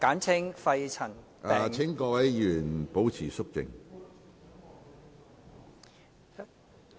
請各位議員保持肅靜。